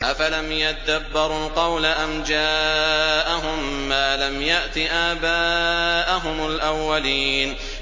أَفَلَمْ يَدَّبَّرُوا الْقَوْلَ أَمْ جَاءَهُم مَّا لَمْ يَأْتِ آبَاءَهُمُ الْأَوَّلِينَ